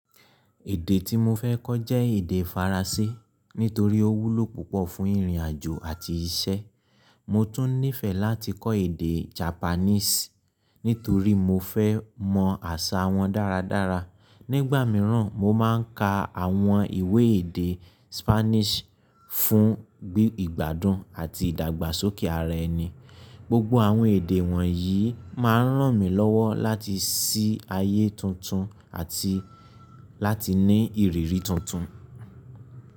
Èdè tí mo fẹ́ kọ́ jẹ́ èdè Faransé nítorí ó wúlò púpọ̀ fún ìrìn àjò àti iṣẹ́. Mo tún nífẹ̀ẹ́ láti kọ́ èdè Japanese nítorí mo fẹ́ mọ àṣà wọn dáradára. Nígbà mìíràn, mo máa ń ka àwọn ìwé èdè Spanish fún ìgbádùn àti ìdàgbàsókè ara ẹni. Gbogbo àwọn èdè wọ̀nyí máa ń ràn mí lọ́wọ́ láti sí ayé tuntun àti láti ní ìrírí tuntun.